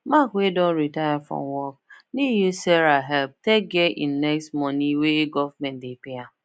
mark wey don retire from work need use sarah help take get e next money wey government dey pay am